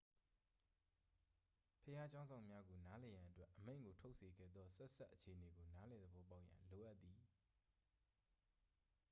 ဘုရားကျောင်းစောင့်များကို နားလည်ရန်အတွက် အမိန့်ကို ထုတ်စေခဲ့သော ဆက်စပ်အခြေအနေကို နားလည်သဘောပေါက်ရန် လိုအပ်သည်